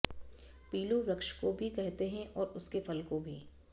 पीलु वृक्ष को भी कहते हैं और उसके फल को भी